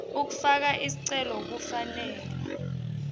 ekufaka sicelo kufanele